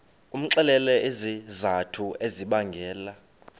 umxelele izizathu ezibangela